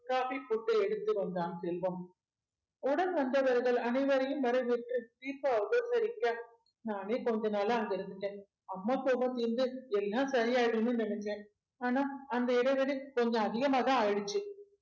coffee போட்டு எடுத்து வந்தான் செல்வம் உடன் வந்தவர்கள் அனைவரையும் வரவேற்று தீபா உபசரிக்க நானே கொஞ்ச நாளா அங்க இருந்துட்டேன் அம்மா கோவம் தீர்ந்து எல்லாம் சரி ஆயிடும்னு நினைச்சேன் ஆனா அந்த இடைவெளி கொஞ்சம் அதிகமாதான் ஆயிருச்சு